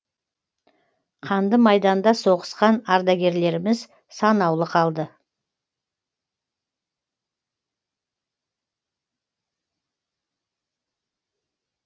қанды майданда соғысқан ардагерлеріміз санаулы қалды